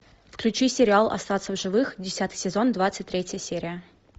включи сериал остаться в живых десятый сезон двадцать третья серия